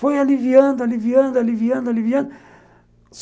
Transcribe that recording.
Foi aliviando, aliviando, aliviando, aliviando.